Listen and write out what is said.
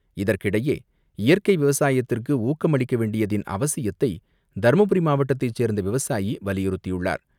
இதற்கிடையே இயற்கை விவசாயத்திற்கு ஊக்கம் அளிக்க வேண்டியதன் அவசியத்தை தருமபுரி மாவட்டத்தை சேர்ந்த விவசாயி வலியுறுத்தியுள்ளார்.